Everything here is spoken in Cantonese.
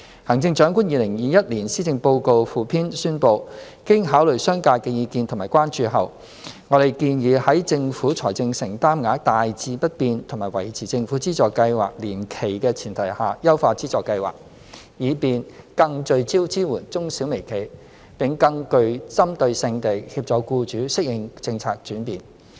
《行政長官2021年施政報告附篇》宣布，經考慮商界的意見及關注後，我們建議在政府財政承擔額大致不變和維持政府資助計劃年期的前提下，優化資助計劃，以便更聚焦支援中小微企，並更具針對性地協助僱主適應政策轉變。